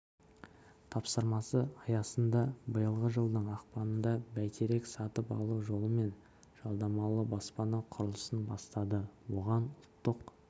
тапсырмасы аясында биылғы жылдың ақпанында бәйтерек сатып алу жолымен жалдамалы баспана құрылысын бастады оған ұлттық